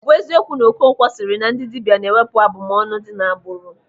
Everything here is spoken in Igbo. Ọ bụ eziokwu na Okonkwo sịrị na ndị dibịa na-ewepụ abụmọnụ dị n'agbụrụ?